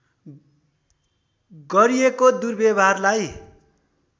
गरिएको दुर्व्यवहारलाई